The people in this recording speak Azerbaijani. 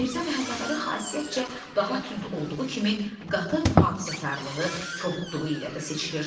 Mirzə Məhəmmədəli xasiyyətcə daha tünd olduğu kimi, qatı mühafizəkarlığı, kobudluğu ilə də seçilir.